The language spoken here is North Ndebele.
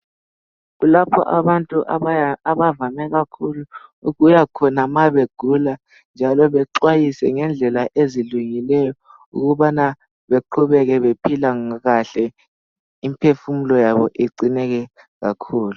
Lapho abantu abavame kakhulu ukuyakhona ma begula njalo bexwayiswe ngendlela ezihlukileyo ukubana beqhubeke bephila kahle imphefumulo yabo igcineke kakhulu.